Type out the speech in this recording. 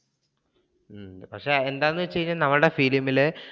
പക്ഷെ എന്താണെന്ന് വെച്ച് കഴിഞ്ഞ ഞങ്ങളുടെ film ല്